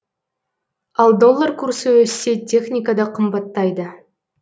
ал доллар курсы өссе техника да қымбаттайды